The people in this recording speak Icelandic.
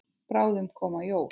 Bráðum koma jól.